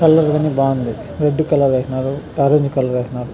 Colour గని బాగుంది red colour ఏసినారు ఆరంజ్ కలర్ ఏసినారు --.